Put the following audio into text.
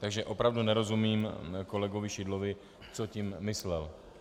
Takže opravdu nerozumím kolegovi Šidlovi, co tím myslel.